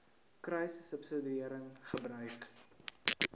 kruissubsidiëringgebruik